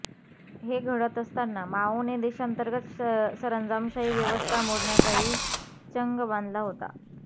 हे घडत असताना माओने देशांतर्गत सरंजामशाही व्यवस्था मोडण्याचाही चंग बांधला होता